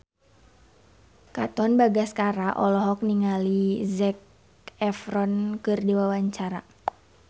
Katon Bagaskara olohok ningali Zac Efron keur diwawancara